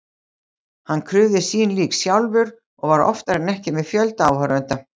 Hann krufði sín lík sjálfur og var oftar en ekki með fjölda áhorfenda.